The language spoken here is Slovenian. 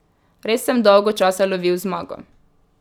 Res sem dolgo časa lovil zmago.